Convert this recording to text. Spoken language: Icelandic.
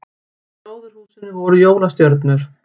Í gróðurhúsinu voru jólastjörnur